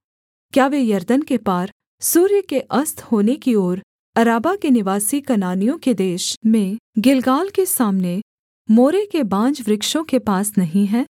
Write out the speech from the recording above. क्या वे यरदन के पार सूर्य के अस्त होने की ओर अराबा के निवासी कनानियों के देश में गिलगाल के सामने मोरे के बांजवृक्षों के पास नहीं है